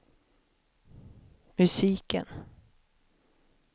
musiken